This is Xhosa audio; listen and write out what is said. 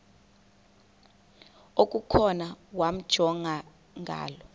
okukhona wamjongay ngaloo